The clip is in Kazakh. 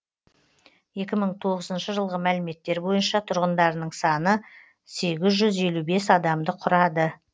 екі мың тоғызыншы жылғы мәліметтер бойынша тұрғындарының саны сегіз жүз елу бес адамды құрады